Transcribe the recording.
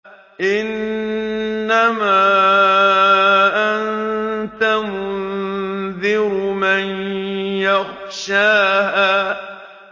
إِنَّمَا أَنتَ مُنذِرُ مَن يَخْشَاهَا